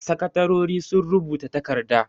Sakatarori sun rubuta takarda.